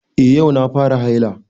Eh yau na fara haila